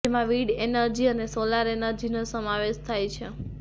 જેમાં wind energy અને solar એનર્જીનો સમાવેશ થાય છે